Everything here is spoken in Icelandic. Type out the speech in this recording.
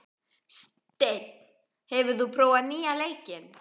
Steinn, hefur þú prófað nýja leikinn?